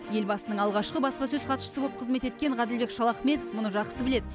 елбасының алғашқы баспасөз хатшысы боп қызмет еткен ғаділбек шалахметов мұны жақсы біледі